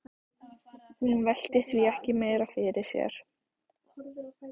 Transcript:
Hún velti því ekki meira fyrir sér.